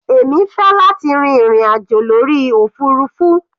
Èmi fẹ́ láti rin ìrìn àjò lórí òfurufú.